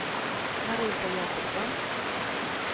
Marita Jakobsson